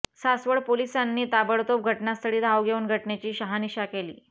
सासवड पोलिसांनी ताबडतोब घटनास्थळी धाव घेऊन घटनेची शहानिशा केली